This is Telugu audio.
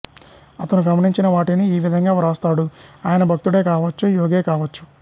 అతను గమనించిన వాటిని ఈవిధంగా వ్రాస్తాడు ఆయన భక్తుడే కావొచ్చు యోగే కావచ్చు